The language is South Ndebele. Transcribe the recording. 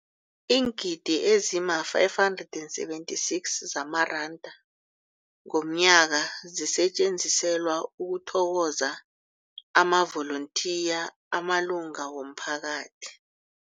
Iingidi ezima-576 zamaranda ngomnyaka zisetjenziselwa ukuthokoza amavolontiya amalunga womphakathi.